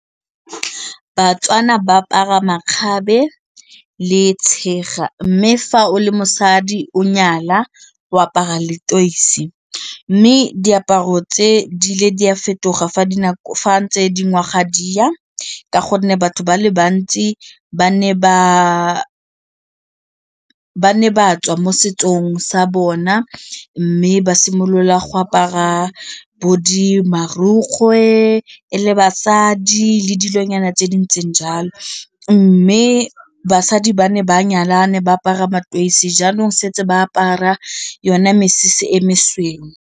Batswana ba apara makgabe le tshega mme fa o le mosadi o nyala o apara leteisi mme diaparo tse di ile di a fetoga fa ntse di ngwaga di ya ka gonne batho ba le bantsi ba ne ba tswa mo setsong sa bona mme ba simolola go apara bo di marukgwe e le basadi le dilonyana tse dintseng jalo mme basadi ba ne ba nyalane ba apara mataesi jaanong setse ba apara yona mesese e mesweu.